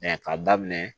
ka daminɛ